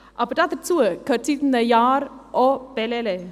Aber dazu gehört seit einem Jahr auch Bellelay.